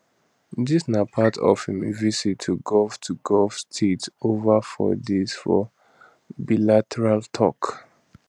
dis na part of im visit to gulf to gulf states ova four days for bilateral tok